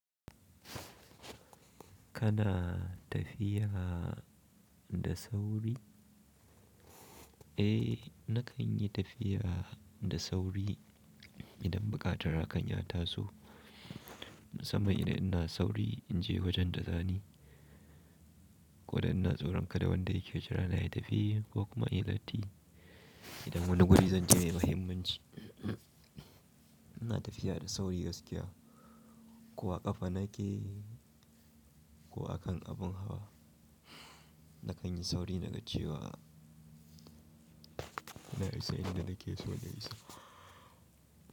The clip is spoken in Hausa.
Kana tafiya da sauri? Eh, na kan yi tafiya da sauri idan buƙatar a kan ya taso, sama idan ina sauri in je wajen da zani, ko idan ina tsoron kada wanda yake jira na yi tafiya ko kuma ya latti. Idan wani guri zan je mai muhimmanci, ina tafiya da sauri gaskiya. Ko a ƙafa nake ko a kan abin hawa, na kan yi sauri na ka cewa na isa inda nake so na isa.